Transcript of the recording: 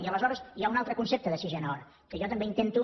i aleshores hi ha un altre concepte de sisena hora que jo també intento